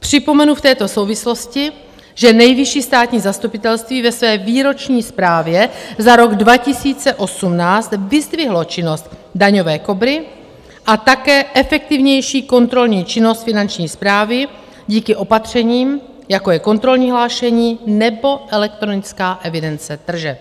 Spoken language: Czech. Připomenu v této souvislosti, že Nejvyšší státní zastupitelství ve své výroční zprávě za rok 2018 vyzdvihlo činnost Daňové Kobry a také efektivnější kontrolní činnost Finanční správy díky opatřením, jako je kontrolní hlášení nebo elektronická evidence tržeb.